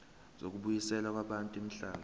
zokubuyiselwa kwabantu imihlaba